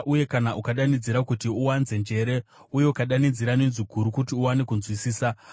uye kana ukadanidzira kuti uwanze njere uye ukadanidzira nenzwi guru kuti uwane kunzwisisa,